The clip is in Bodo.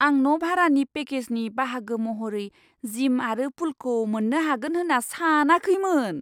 आं न' भारानि पेकेजनि बाहागो महरै जिम आरो पुलखौ मोन्नो हागोन होन्ना सानाखैमोन!